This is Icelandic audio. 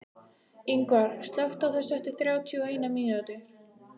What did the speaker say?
Yngvar, slökktu á þessu eftir þrjátíu og eina mínútur.